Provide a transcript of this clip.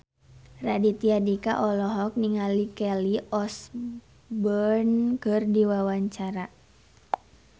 Raditya Dika olohok ningali Kelly Osbourne keur diwawancara